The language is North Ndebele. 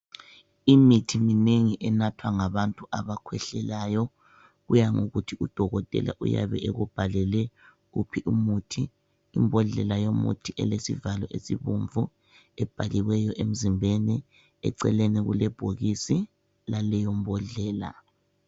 Imithi minengi enathwa ngabantu abakhwehlelayo. Kuya ngokuthi udokotela uyabe ekubhalele wuphi umuthi. Imbodlela yomuthi elesivalo esibomvu ebhaliweyo emzimbeni eceleni kulebhokisi laleyombodlela.